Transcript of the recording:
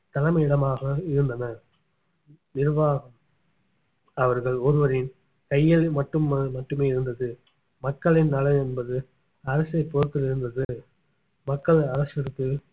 தலைமையிடமாக இருந்தன நிர்வாகம் அவர்கள் ஒருவரின் கையில் மட்டும் மட்டுமே இருந்தது மக்களின் நலன் என்பது அரசைப் பொறுத்து இருந்தது மக்கள் அரசிற்கு